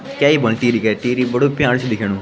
क्य ही बुन टिहरी के टिहरी बडू प्यारु च दिखेणु ।